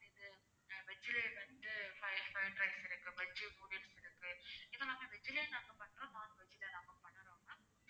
இது veg லயே வந்து fried rice இருக்கு veg noodles இருக்கு இது எல்லாமே veg லயே நாங்க பண்றோம் non veg ல நாங்க பண்ணணும் ma'am